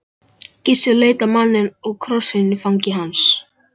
Gissur leit á manninn og krossinn í fangi hans.